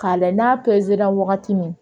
K'a lajɛ n'a perera wagati min